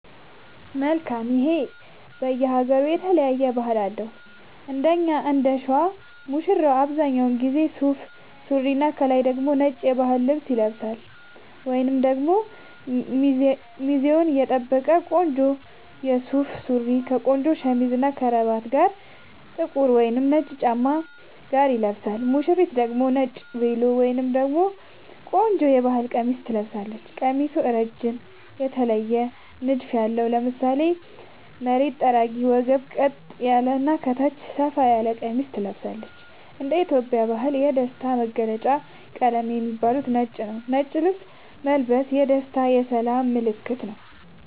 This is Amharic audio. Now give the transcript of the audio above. መልካም ይሄ በየ ሃገሩ የተለያየ ባህል አለው እንደኛ እንደሸዋ ሙሽራው አብዛኛውን ጊዜ ሱፍ ሱሪና ከላይ ደግሞ ነጭ የባህል ልብስ ይለብሳልወይንም ደግሞ ሚዛኑን የጠበቀ ቆንጆ ሱፍ ሱሪ ከቆንጆ ሸሚዝ እና ከረባት ጋር ጥቁር ወይም ነጭ ጫማ ጋር ይለብሳል ሙሽሪት ደግሞ ነጭ ቬሎ ወይም ደግሞ ቆንጆ የባህል ቀሚስ ትለብሳለች ቀሚሱ እረጅም የተለየ ንድፍ ያለው ( ለምሳሌ መሬት ጠራጊ ወገብ ቀጥ ያለ እና ከታች ሰፋ ያለ ቀሚስ ትለብሳለች )እንደ ኢትዮጵያ ባህል የደስታ መገልውጫ ቀለም ከሚባሉት ውስጥ ነጭ ነዉ ነጭ ልብስ መልበስ የደስታ የሰላም ምልክትም ነዉ